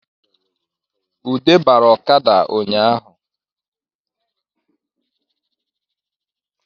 Ude bara ọkada ụnyahụ